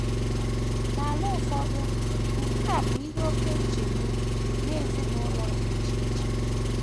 N’ala ụfọdụ nke a bụ ihe oké nchegbu nye ezinụlọ dị iche iche.